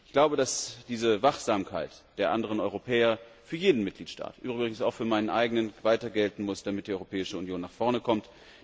Ich glaube, dass diese Wachsamkeit der anderen Europäer für jeden Mitgliedstaat übrigens auch für meinen eigenen weiter gelten muss, damit die Europäische Union vorankommt.